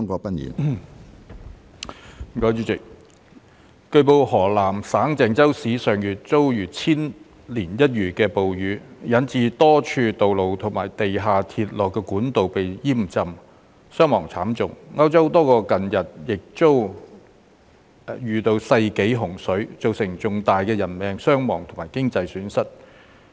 主席，據報，河南省鄭州市上月遭遇千年一遇的暴雨，引致多處道路及地下鐵路管道被淹浸，傷亡慘重；歐洲多國近日亦遭遇世紀洪水，造成重大的人命傷亡及經濟損失。